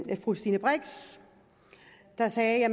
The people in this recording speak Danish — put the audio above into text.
og fru stine brix der sagde at